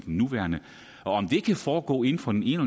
nuværende og om det kan foregå inden for den ene